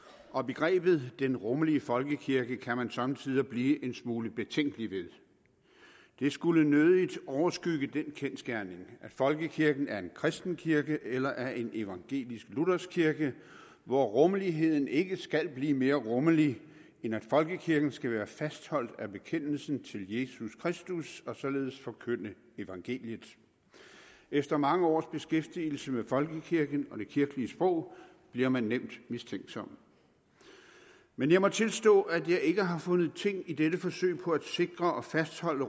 og begrebet den rummelige folkekirke kan man somme tider blive en smule betænkelig ved det skulle nødigt overskygge den kendsgerning at folkekirken er en kristen kirke eller er en evangelisk luthersk kirke hvor rummeligheden ikke skal blive mere rummelig end at folkekirken skal være fastholdt af bekendelsen til jesus kristus og således forkynde evangeliet efter mange års beskæftigelse med folkekirken og det kirkelige sprog bliver man nemt mistænksom men jeg må tilstå at jeg ikke har fundet ting i dette forsøg på at sikre og fastholde